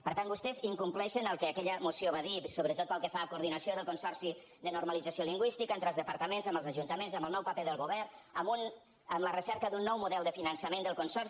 per tant vostès incompleixen el que aquella moció va dir sobretot pel que fa a coordinació del consorci de normalització lingüística entre els departaments amb els ajuntaments amb el nou paper del govern amb la recerca d’un nou model de finançament del consorci